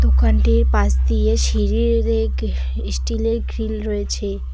দোকানটির পাশ দিয়ে সিঁড়ি গে এই স্টিলের গ্রিল রয়েছে।